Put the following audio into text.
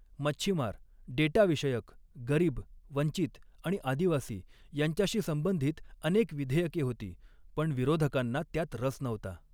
मच्छीमार, डेटाविषयक, गरीब, वंचित आणि आदिवासी यांच्याशी संबंधित अऩेक विधेयके होती, पण विरोधकांना त्यात रस नव्हता.